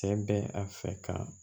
Cɛ bɛ a fɛ ka